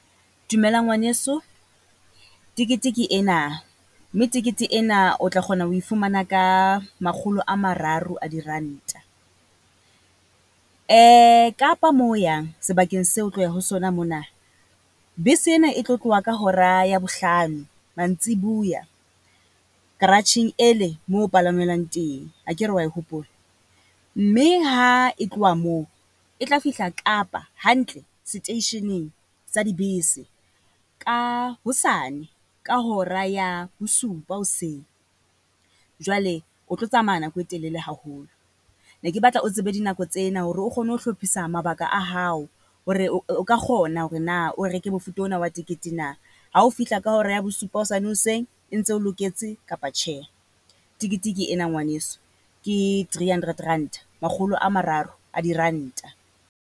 Dumela ngwaneso, tekete ke ena. Mme tekete ena o tla kgona ho e fumana ka makgolo a mararo a diranta. Kapa moo o yang sebakeng se o tloya ho sona mona, bese ena e tlo tloha ka hora ya bohlano mantsibuya, karatjheng e le mo ho palangwelwang teng, akere wa e hopola? Mme ha e tloha moo e tla fihla Kapa hantle seteisheneng sa dibese ka hosane ka hora ya bosupa hoseng. Jwale o tlo tsamaya nako e telele haholo. Ne ke batla o tsebe dinako tsena hore o kgone ho hlophisa mabaka a hao hore o ka kgona hore na o reke mofuta ona wa tekete na. Ha o fihla ka hora ya bosupa hosane hoseng e ntse e o loketse kapa tjhe? Tekete ke ena ngwaneso ke three hundred ranta, makgolo a mararo a diranta.